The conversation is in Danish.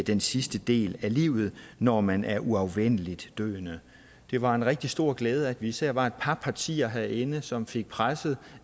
den sidste del af livet når man er uafvendeligt døende det var en rigtig stor glæde at vi især var et par partier herinde som fik presset